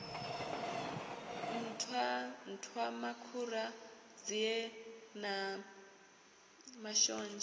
nṱhwa nṱhwamakhura nzie na mashonzha